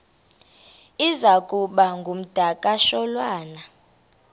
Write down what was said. iza kuba ngumdakasholwana